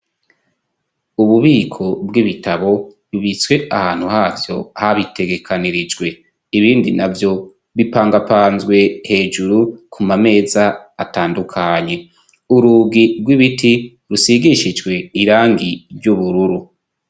ububiko bw'ibitabo bibitswe ahantu havyo habitegekanirijwe, ibindi navyo bipangapanzwe hejuru ku mameza atandukanye, urugi rw'ibiti rusigishijwe irangi ry'ubururu.